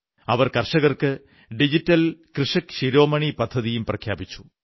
അവർ കർഷകർക്ക് ഡിജിറ്റൽ കൃഷക് ശിരോമണി പദ്ധതിയും പ്രഖ്യാപിച്ചു